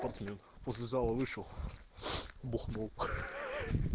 после после зала вышел бухнул хе-хе